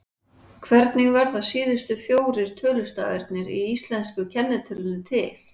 Hvernig verða síðustu fjórir tölustafirnir í íslensku kennitölunni til?